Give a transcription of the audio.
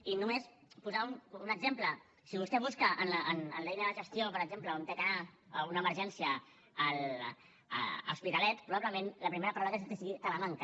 i només posar un exemple si vostè busca en l’eina de gestió per exemple on ha d’anar una emergència a l’hospitalet probablement la primera paraula que surti sigui talamanca